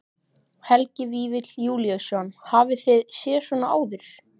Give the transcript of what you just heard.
Helgi Vífill Júlíusson: Hafið þið séð svona áður?